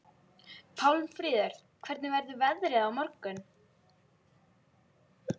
Pálmfríður, hvernig verður veðrið á morgun?